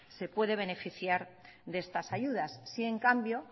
se puede beneficiar de estas ayudas sí en cambio